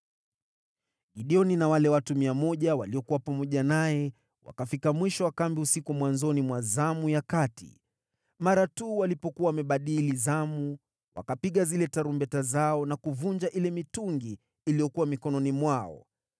Gideoni na wale watu 100 waliokuwa pamoja naye wakafika mwisho wa kambi usiku mwanzoni mwa zamu ya kati, mara tu walipokuwa wamebadili zamu. Wakapiga zile tarumbeta zao na kuvunja ile mitungi iliyokuwa mikononi mwao.